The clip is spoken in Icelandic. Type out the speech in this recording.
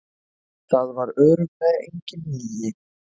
Það var örugglega engin lygi.